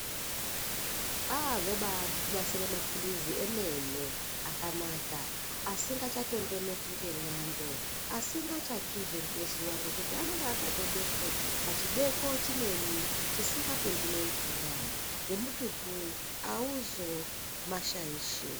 Aa vobanasire maphirizi emene akanaka asingachatondoneki ngemwando asingachatsvizve ngezuva. Ngekuti anonga akatobekwe pachibeko chimweni chisinga pindi nemvura nemututu hauzo mashaishi.